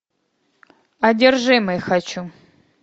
одержимый хочу